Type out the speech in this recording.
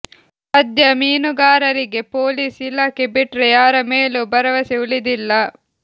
ಸದ್ಯ ಮೀನುಗಾರರಿಗೆ ಪೊಲೀಸ್ ಇಲಾಖೆ ಬಿಟ್ರೆ ಯಾರ ಮೇಲೂ ಭರವಸೆ ಉಳಿದಿಲ್ಲ